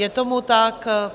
Je tomu tak.